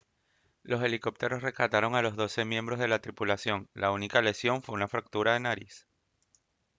los helicópteros rescataron a los doce miembros de la tripulación y la única lesión fue una fractura de nariz